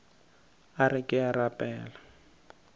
a re ke a rapela